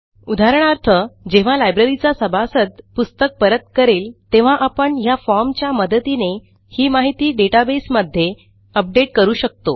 उदाहरणार्थ जेव्हा लायब्ररीचा सभासद पुस्तक परत करेल तेव्हा आपण ह्या formच्या मदतीने ही माहिती डेटाबेसमध्ये अपडेट करू शकतो